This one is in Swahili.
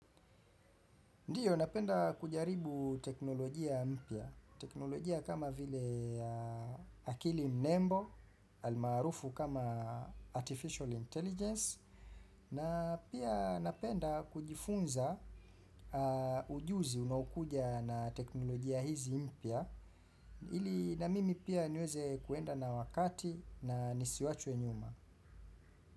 Ndiyo napenda kujaribu teknolojia mpya, teknolojia kama vile akili mnembo, almarufu kama artificial intelligence, na pia napenda kujifunza ujuzi unaokuja na teknolojia hizi mpya, ili na mimi pia niweze kuenda na wakati na nisiwachwe nyuma.